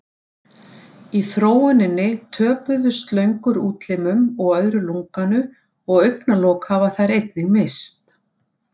Í þróuninni töpuðu slöngur útlimum og öðru lunganu og augnalok hafa þær einnig misst.